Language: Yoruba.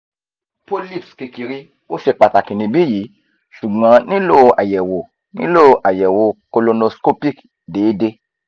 polyps kekere o se pataki nibiyi sugbon nilo ayewo nilo ayewo colonoscopic deede